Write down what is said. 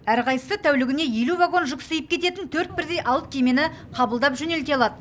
әрқайсысы тәулігіне елу вагон жүк сыйып кететін төрт бірдей алып кемені қабылдап жөнелте алады